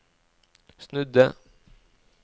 snudde